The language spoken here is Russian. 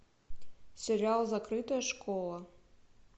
сериал закрытая школа